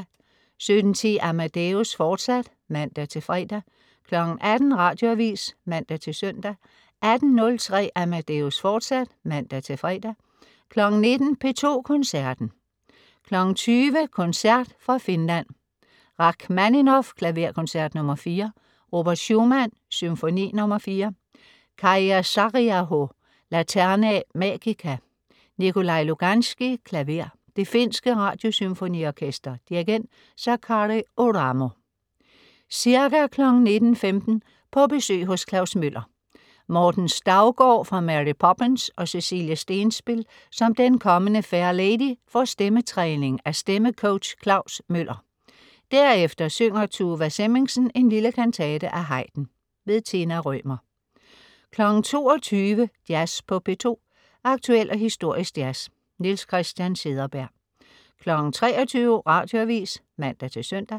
17.10 Amadeus, fortsat (man-fre) 18.00 Radioavis (man-søn) 18.03 Amadeus, fortsat (man-fre) 19.00 P2 Koncerten. 20.00 Koncert fra Finland. Rakhmaninov: Klaverkoncert nr. 4. Robert Schumann: Symfoni nr. 4. Kaija Saariaho: Laterna Magica. Nikolaj Luganskij, klaver. Det finske Radiosymfoniorkester. Dirigent: Sakari Oramo. Ca. 19.15 På besøg hos Klaus Møller. Morten Staugaard fra Mary Poppins og Cecilie Stenspil som den kommende Fair Lady får stemmetræning af stemme coach Klaus Møller. Derefter synger Tuva Semmingsen en lille kantate af Haydn. Tina Rømer 22.00 Jazz på P2. Aktuel og historisk jazz. Niels Christian Cederberg 23.00 Radioavis (man-søn)